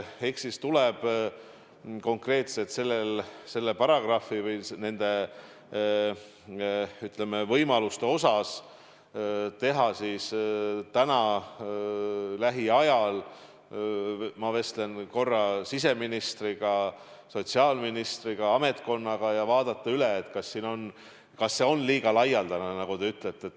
Eks siis tuleb konkreetselt nende paragrahvide või nende, ütleme, võimaluste üle lähiajal – ma vestlen korra siseministri ja sotsiaalministriga – arutada ja vaadata üle, kas see volitus on liiga laialdane, nagu te ütlete.